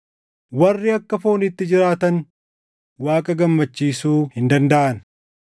Warri akka fooniitti jiraatan Waaqa gammachiisuu hin dandaʼan.